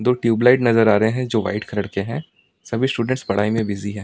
दो ट्यूबलाइट नजर आ रहे हैं जो वाइट कलर के हैं सभी स्टूडेंट्स पढ़ाई में बिजी है।